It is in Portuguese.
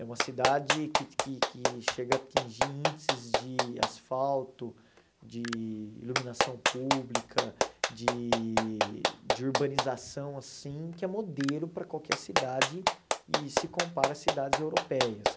É uma cidade que que que chega a atingir índices de asfalto, de iluminação pública, de de urbanização assim, que é modelo para qualquer cidade e se compara a cidades europeias.